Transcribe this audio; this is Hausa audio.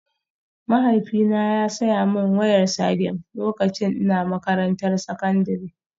Mahaifina ya saya min wayar Sagem lokacin ina makarantar sakandare